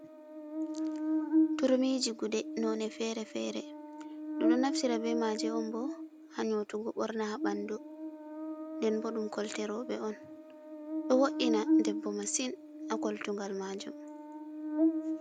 Turmiji guɗe none fere-fere ɗum ɗo naftira be maje on bo ha nyotugo borna ha ɓandu nden bo ɗum kolte roɓe on do wo’ina debbo masin a koltugal majum.